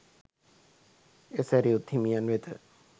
එය සැරියුත් හිමියන් වෙත